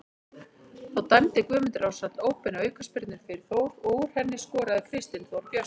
Þá dæmdi Guðmundur Ársæll óbeina aukaspyrnu fyrir Þór og úr henni skoraði Kristinn Þór Björnsson.